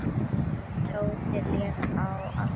Tóti lék á als oddi.